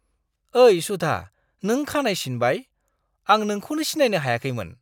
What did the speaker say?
ओइ सुधा, नों खानाय सिनबाय! आं नोंखौनो सिनायनो हायाखैमोन!